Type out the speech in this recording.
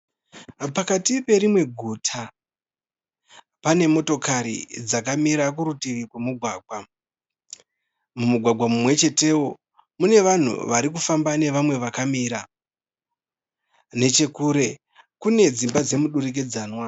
Pakati perimwe guta. Pane motokari dzakamira kurutivi kwemugwagwa. Mumugwagwa mumwechetewo mune vanhu varikufamba nevamwe vakamira. Nechekure kune dzimba dzemudurikidzanwa.